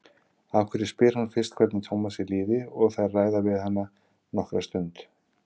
Að venju spyr hún fyrst hvernig Tómasi líði og þær ræða um hann nokkra stund.